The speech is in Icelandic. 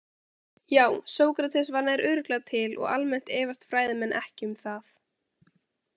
Já, Sókrates var nær örugglega til og almennt efast fræðimenn ekki um það.